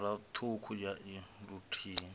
phara ṱhukhu ya i luthihi